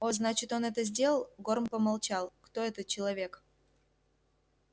о значит он это сделал горм помолчал кто этот человек